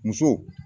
Muso